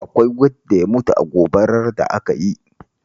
Akwai wanda ya mutu a gobarar da ka yi?